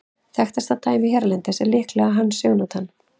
Þekktasta dæmið hérlendis er líklega Hans Jónatan.